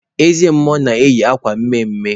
Eze mmụọ na-eyi akwa mme mme.